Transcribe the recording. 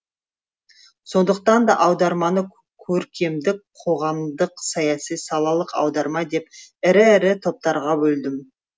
сондықтан да аударманы көркемдік қоғамдық саяси салалық аударма деп ірі ірі топтарға бөлдім